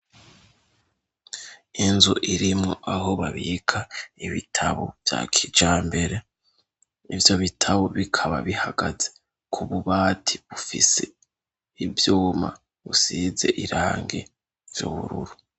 Inzu irimwo aho babika ibitabo vya kijambere. Ivyo bitabo bikaba bihagaze ku bubati bufise ivyuma busize irangi by'ubururu